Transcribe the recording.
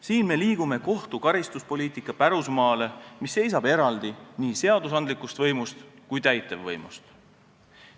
Siin me liigume kohtu karistuspoliitika pärusmaale, mis seisab eraldi nii seadusandlikust võimust kui ka täitevvõimust.